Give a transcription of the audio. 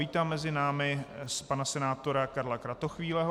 Vítám mezi námi pana senátora Karla Kratochvíleho.